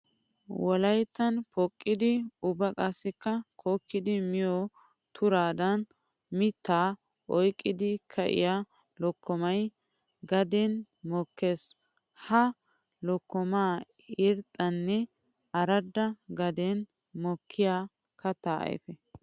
Wolayttan poqqiddi ubba qassikka kokkiddi miyo turaddan mitta oyqqiddi ka'iya lokkomay gaden mokkees. Ha lokkomay irxxanne aradda gaden mokkiya katta ayfe.